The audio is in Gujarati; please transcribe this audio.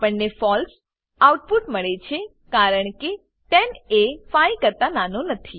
આપણને ફળસે ફોલ્સ આઉટપુટ મળે છે કારણ કે 10 એ 5 કરતા નાનો નથી